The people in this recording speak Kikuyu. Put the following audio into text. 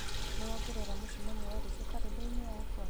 nĩ wongerera mũcemanio wa rũciũ karenda-inĩ yakwa